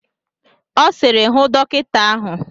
Ọ sịrị, hụ dọkịta ahụ!